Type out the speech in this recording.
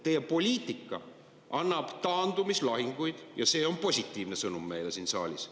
Teie poliitika annab taandumislahinguid ja see on positiivne sõnum meile siin saalis.